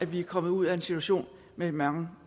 vi kommer ud af en situation med mange